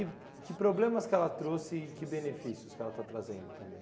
E que problemas que ela trouxe e que benefícios que ela está trazendo também?